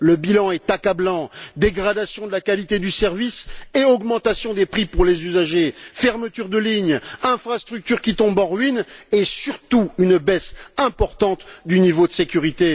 Le bilan est accablant dégradation de la qualité du service et augmentation des prix pour les usagers, fermetures de lignes, infrastructures qui tombent en ruine, et surtout, une baisse importante du niveau de sécurité.